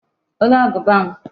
Olee agụba m?